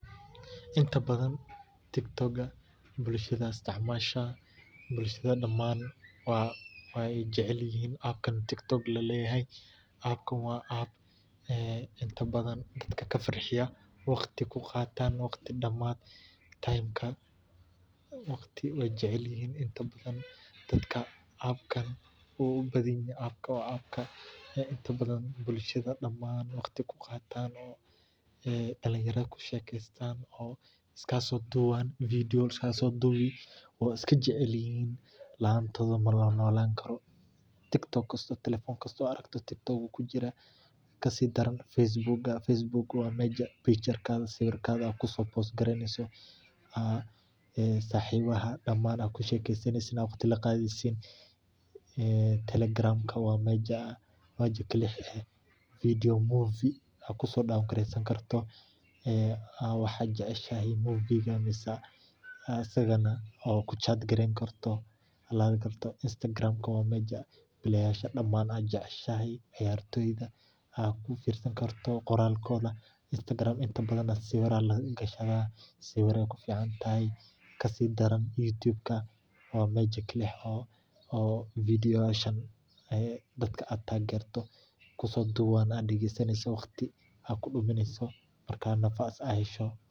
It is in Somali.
Inta badan dadka, gaar ahaan dhalinyarada, waxay isticmaalaan TikTok. Waa app dadka farxiya oo ay waqti ku qaataan. Dadka intooda badan waxay jecel yihiin TikTok sababtoo ah waa meel ay ku daawadaan muuqaallo , ay isugu soo duubaan, una gudbiyaan asxaabtooda. Ku dhowaad taleefan kasta TikTok wuu ku jiraa. Facebook waa meel dadka ay sawirradooda ku dhajiyaan isla markaana ay asxaabtoda kula sheekaystaan. Telegram waa meel aad filimada movies aad jeceshahay kala soo degi karto, isla markaana aad ku sheekaysan karto chat. Instagram-ka waa bar ay dadka intooda badan ciyaartooyda iyo dadka caanka ah sawirradooda iyo qoraaladooda ka daawadaan. Waxaa kaloo aad ku dhigi kartaa sawirradaada. YouTube waa meel dadka ay muuqaallo kala duwan soo geliyaan, dadka kalena ay ka daawadaan marka ay fursad helaan.